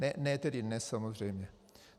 Ne tedy dnes, samozřejmě.